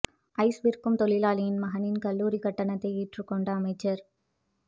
ice விற்கும் தொழிலாளியின் மகனின் கல்லூரிக் கட்டணத்தை ஏற்றுக் கொண்ட அமைச்சா்